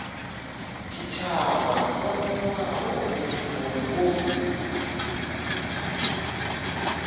tshitshavha o newaho mushumo wo